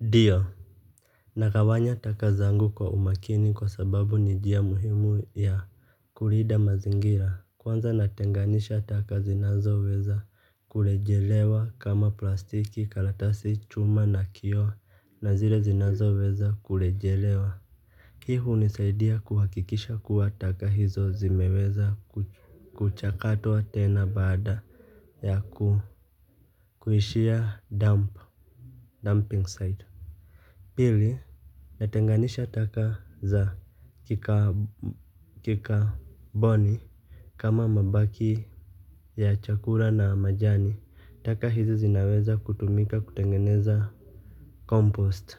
Ndio. Nagawanya taka zangu kwa umakini kwa sababu ni njia muhimu ya kulinda mazingira kwanza natenganisha taka zinazoweza kurejelewa kama plastiki karatasi chuma na kioo na zilezinazo weza kurejelewa. Hii hunisaidia kuhakikisha kuwa taka hizo zimeweza kuchakatwa tena baada ya ku kuishia dump dumping site. Pili natenganisha taka za kikaboni kama mabaki ya chakula na majani. Taka hizi zinaweza kutumika kutengeneza compost